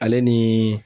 Ale ni